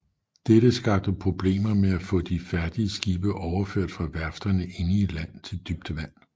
Dette skabte problemer med at få de færdige skibe overført fra værfterne inde i land til dybt vand